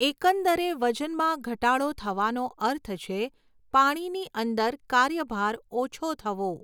એકંદરે વજનમાં ઘટાડો થવાનો અર્થ છે, પાણીની અંદર કાર્યભાર ઓછો થવો.